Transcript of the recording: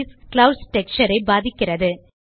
clouds texture ஐ பாதிக்கிறது